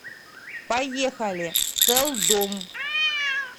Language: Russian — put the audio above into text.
поехали сэлдом